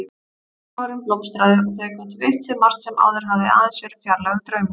Efnahagurinn blómstraði, þau gátu veitt sér margt sem áður hafði aðeins verið fjarlægur draumur.